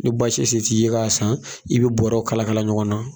Ni base se t'i ye k'a san i be bɔrɛw kalakala ɲɔgɔn na